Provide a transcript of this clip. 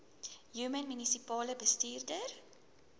human munisipale bestuurder